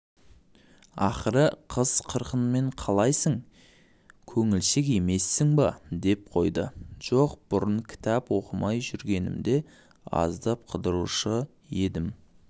ақыры қыз-қырқынмен қалайсы көңілшек емессің бе деп қойдыжоқ бұрын кітап оқымай жүргенімде аздап қыдырушы едім